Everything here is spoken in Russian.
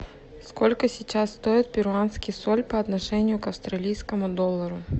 сколько сейчас стоит перуанский соль по отношению к австралийскому доллару